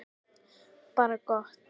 Bara gott.